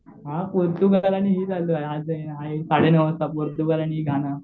हां पोर्तुगाल आणि ही चालू आहे साडे नऊ वाजता पोर्तुगाल आणि